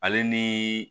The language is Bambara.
Ale ni